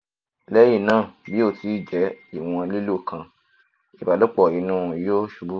lẹhinna bi o ti jẹ iwọn lilo kan ibalopo inu yoo ṣubu